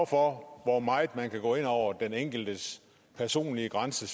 for hvor meget man kan gå ind over den enkeltes personlige grænse